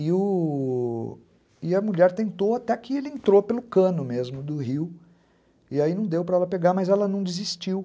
E o... e a mulher tentou até que ele entrou pelo cano mesmo do rio e aí não deu para ela pegar, mas ela não desistiu.